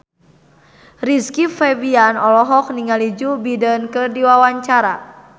Rizky Febian olohok ningali Joe Biden keur diwawancara